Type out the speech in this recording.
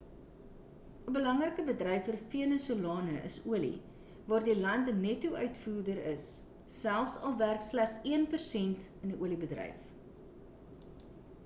'n belangrike bedryf vir venesolane is olie waar die land 'n netto-uitvoerder is selfs al werk slegs een persent in die oliebedryf